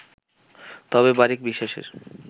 তবে বারিক বিশ্বাসের